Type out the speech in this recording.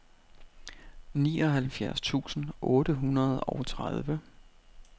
nioghalvfjerds tusind otte hundrede og tredive